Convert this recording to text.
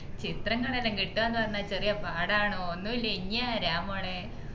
ചിത്രങ്ങളെല്ലാം കിട്ടുആ ന്ന് പറഞ്ഞാൽ ചെറിയ പാടാണോ ഒന്നയല്ലേ ഇഞ്ഞി ആരാമോളെ